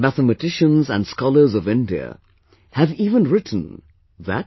Mathematicians and scholars of India have even written that